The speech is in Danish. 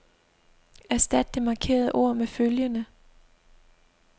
Erstat det markerede ord med følgende.